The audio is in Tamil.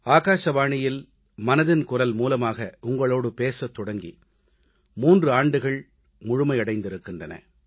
ஆகாசவாணியில் மனதின் குரல் மூலமாக உங்களோடு பேசத் தொடங்கி 3 ஆண்டுகள் முழுமையடைந்திருக்கிறன